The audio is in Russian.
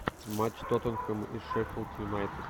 матч тоттенхэм и шеффилд юнайтед